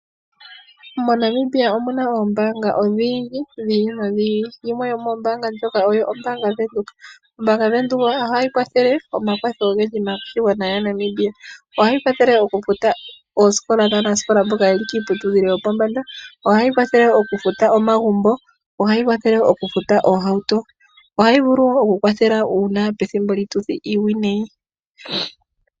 MoNamibia omu na oombaanga odhindji dhi ili nodhi ili. Yimwe yomoombaanga ndhoka oyo ombaanga yaVenduka. Ombaanga yaVenduka ohayi gandja omakwatho ogendji maaNamibia. Ohayi kwathele okufuta oosikola dhaanasikola mboka ye li kiiputudhilo yopombanda. Ohayi kwathele okufuta omagumbo noohauto. Ohayi vulu wo okukwathela pethimbo lyiituthi iiwinayi.